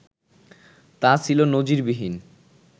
তা ছিল নজিরবিহীন